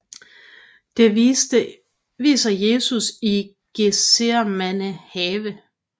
Det viser Jesus i Getsemane have